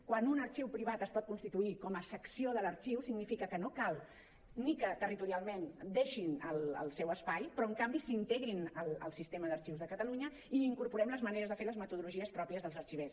quan un arxiu privat es pot constituir com a secció de l’arxiu significa que no cal ni que territorialment deixin el seu espai però en canvi s’integrin al sistema d’arxius de catalunya i incorporem les maneres de fer les metodologies pròpies dels arxivers